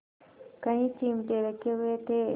कई चिमटे रखे हुए थे